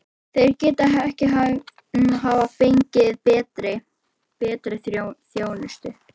Þeir gætu ekki hafa fengið betri. betri þjónustu.